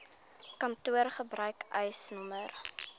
kantoor gebruik eisnr